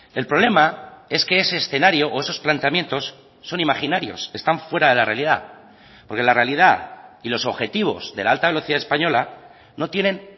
el problema es que ese escenario o esos planteamientos son imaginarios están fuera de la realidad porque la realidad y los objetivos de la alta velocidad española no tienen